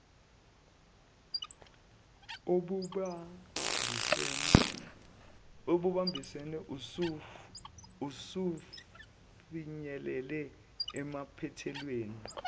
obubambisene usufinyelele emaphethelweni